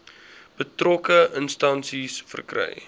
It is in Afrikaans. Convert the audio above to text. betrokke instansie verkry